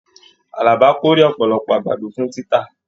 Àlàbá k'ore ọpọlọpọ àgbàdo fún títà.